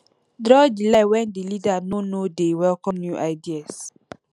draw di line when di leader no no de welcome new ideas